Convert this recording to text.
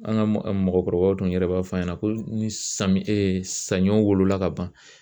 An ka mɔgɔkɔrɔbaw dun yɛrɛ b'a f'a ɲɛna ko ni samiyɛ saɲɔ wolola ka ban